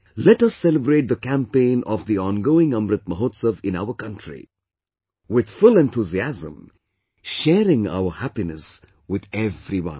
Let us celebrate the campaign of the ongoing Amrit Mahotsav in our country with full enthusiasm, sharing our happiness with everyone